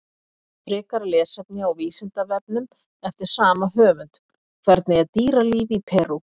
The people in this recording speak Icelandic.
Frekara lesefni á Vísindavefnum eftir sama höfund: Hvernig er dýralíf í Perú?